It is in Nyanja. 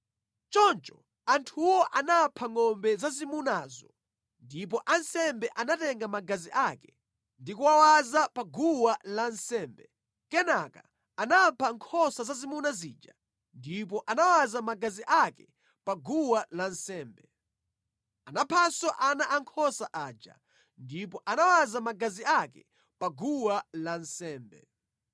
Choncho anthuwo anapha ngʼombe zazimunazo ndipo ansembe anatenga magazi ake ndi kuwawaza pa guwa lansembe, kenaka anapha nkhosa zazimuna zija ndipo anawaza magazi ake pa guwa lansembe; anaphanso ana ankhosa aja ndipo anawaza magazi ake pa guwa lansembe.